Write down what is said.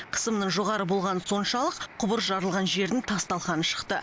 қысымның жоғары болғаны соншалық құбыр жарылған жердің тас талқаны шықты